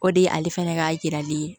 O de ye ale fɛnɛ ka yirali ye